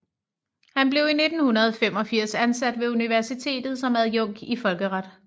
Han blev i 1985 ansat ved universitetet som adjunkt i folkeret